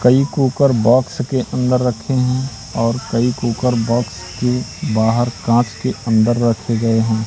कई cooker box के अंदर रखे हैं और कई कुकर बॉक्स के बाहर कांच के अंदर रखे गए हैं।